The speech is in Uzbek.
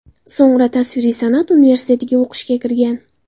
So‘ngra tasviriy san’at universitetiga o‘qishga kirgan.